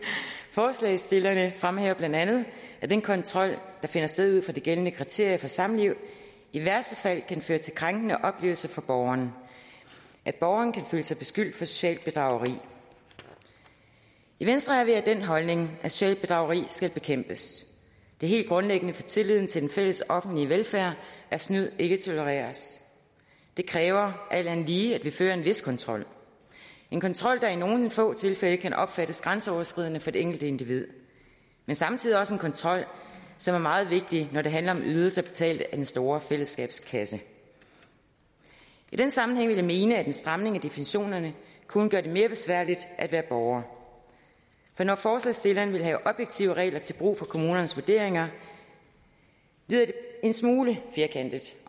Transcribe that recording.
forslagsstillerne fremhæver bla at den kontrol der finder sted ud fra de gældende kriterier for samliv i værste fald kan føre til krænkende oplevelser for borgeren at borgeren kan føle sig beskyldt for socialt bedrageri i venstre er vi af den holdning at socialt bedrageri skal bekæmpes det er helt grundlæggende for tilliden til den fælles offentlige velfærd at snyd ikke tolereres det kræver alt andet lige at vi fører en vis kontrol en kontrol der i nogle få tilfælde kan opfattes grænseoverskridende for det enkelte individ men samtidig også en kontrol som er meget vigtig når det handler om ydelser betalt af den store fællesskabskasse i den sammenhæng vil jeg mene at en stramning af definitionerne kun gør det mere besværligt at være borger for når forslagsstillerne vil have objektive regler til brug for kommunernes vurderinger lyder det en smule firkantet